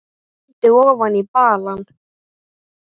Hvað töluðum við um?